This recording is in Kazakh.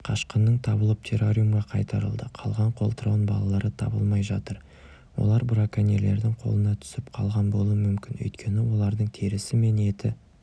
қашқынның табылып террариумға қайтарылды қалған қолтырауын балалары табылмай жатыр олар браконьерлердің қолына түсіп қалған болуы мүмкін өйткені олардың терісі мен еті